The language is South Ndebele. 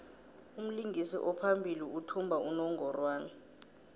umlingisi ophambili uthumba unongorwand